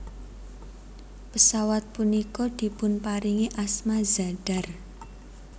Pesawat punika dipunparingi asma Zadar